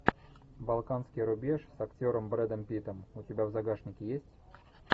балканский рубеж с актером брэдом питтом у тебя в загашнике есть